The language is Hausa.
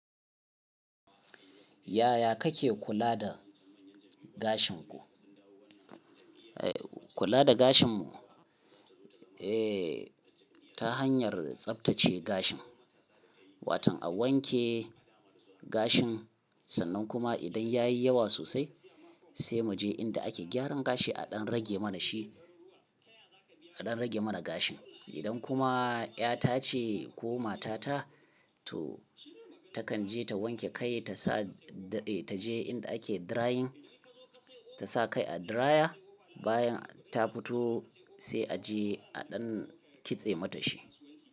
Yaya kake kula da gashin ku? Eh kula da gashin mu? Eh ta hanyar tsaftace gashin, Wato a wanke gashin sannan kuma idan yayi yawa sosai sai muje inda ake gyaran gashi a ɗan rage mana shi, a ɗan rage mana gashin. Idan kuma ƴa ta ce ko mata ta to takan je ta wanke kai ta sa ta je inda ake drying, ta sa kai a dryer bayan ta fito sai a je a ɗan kitse mata shi.